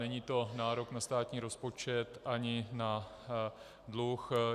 Není to nárok na státní rozpočet ani na dluh.